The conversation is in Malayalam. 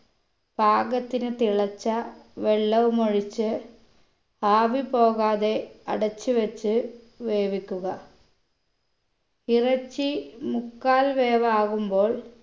പാകത്തിന് തിളച്ച വെള്ളവുമൊഴിച്ച് ആവി പോകാതെ അടച്ചു വെച്ച് വേവിക്കുക ഇറച്ചി മുക്കാൽ വേവാകുമ്പോൾ